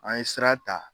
An ye sira ta